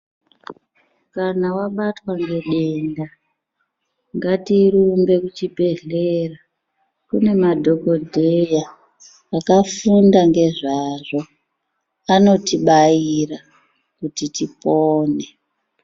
Kana wabatwa nedenda ngatirumbe kuchibhedhlera kune madhokodheya akafunda ngezvazvo anotibaira kuti tipone.